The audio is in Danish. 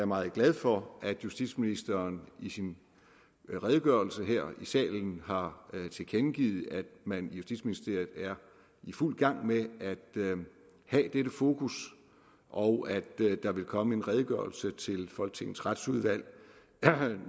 meget glad for at justitsministeren i sin redegørelse her i salen har tilkendegivet at man i justitsministeriet er i fuld gang med at have dette fokus og at der vil komme en redegørelse til folketingets retsudvalg